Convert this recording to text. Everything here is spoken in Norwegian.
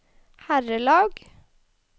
herrelag